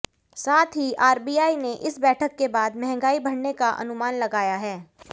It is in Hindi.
साथ ही आरबीआई ने इस बैठक के बाद महंगाई बढ़ने का अनुमान लगाया है